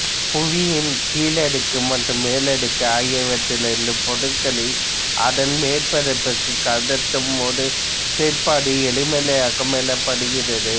புவியின் கீழடுக்கு மற்றும் மேலடுக்கு ஆகியவற்றிலிருந்து பொருட்களை அதன் மேற்பரப்பிற்குக் கடத்தும் ஒரு செயற்பாடு எரிமலையாக்கம் எனப்படுகிறது